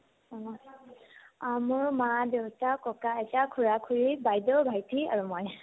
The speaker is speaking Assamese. অ, মই মোৰ অ মোৰ মা-দেউতা , ককা-আইতা , খুৰা-খুৰী, বাইদেউ ভাইটি আৰু মই